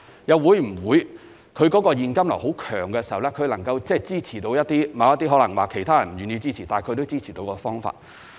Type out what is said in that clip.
又或當投標者的現金流很強時，能支持他採用一些其他投標者不願意採用的方法？